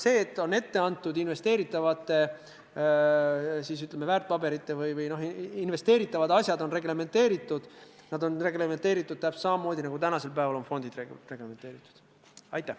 See, et investeeritavad, ütleme siis, väärtpaberid või investeeritavad asjad on reglementeeritud – need on reglementeeritud täpselt samamoodi, nagu tänasel päeval on reglementeeritud fondid.